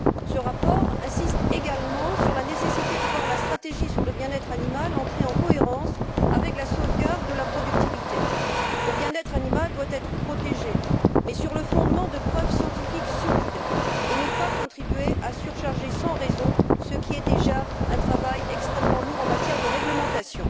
Ce rapport insiste également sur la nécessité de voir la stratégie sur le bien être animal entrer en cohérence avec la sauvegarde de la productivité. Le bien être animal doit être protégé, mais sur le fondement de preuves scientifiques solides, et ne doit pas contribuer à surcharger sans raison ce qui est déjà un travail extrêmement lourd en matière de réglementation.